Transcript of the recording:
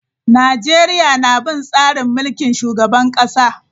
Najeriya na bin tsarin mulkin shugaban kasa.